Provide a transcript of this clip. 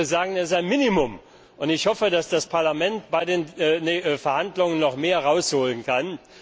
Ich würde sagen, das ist ein Minimum. Und ich hoffe, dass das Parlament bei den Verhandlungen noch mehr rausholen kann.